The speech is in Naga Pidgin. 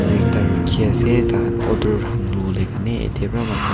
ekta rukhi ase taikhan order khan lowo le karne ete para manukhan--